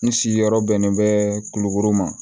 N sigiyɔrɔ bɛnnen bɛ kulukoro ma